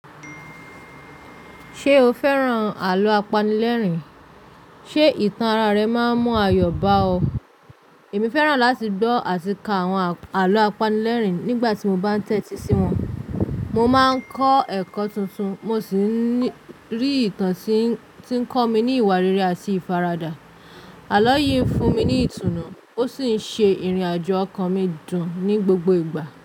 Ṣé o fẹ́ràn àlọ́ apanilẹ́rìn? Ṣé ìtàn ara rẹ máa ń mú ayọ̀ bá ọ? Èmi fẹ́ràn láti gbọ́ àti ka àwọn àlọ́ apanilẹ́rìn nígbà tí mo bá ń tẹ́tí sí wọn. Mo máa ń kọ́ ẹ̀kọ́ tuntun, mo sì rí ìtàn tí ń kọ́ mi ní ìwà rere àti ìfaradà. Àlọ́ yìí ń fún mi ní ìtùnú, ó sì ń ṣe ìrìnàjò ọkàn mi dùn ní gbogbo ìgbà.